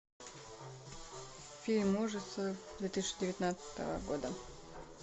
фильм ужасов две тысячи девятнадцатого года